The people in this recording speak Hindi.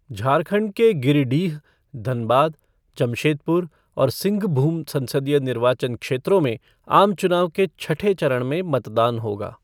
झारखंड के गिरिडीह, धनबाद, जमशेदपुर और सिंघभूम संसदीय निर्वाचन क्षेत्रों में आम चुनाव के छठे चरण में मतदान होगा।